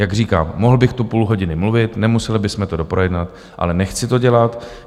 Jak říkám, mohl bych tu půl hodiny mluvit, nemuseli bychom to doprojednat, ale nechci to dělat.